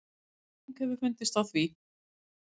Skýring hefur fundist á því.